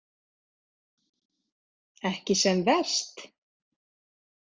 Ekki sem verst?